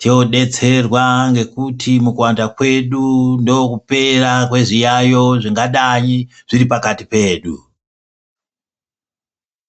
todetserwa ngekuti mukuwanda kwedu ndokupera kwezviyayo zvingadai zviripakati pedu.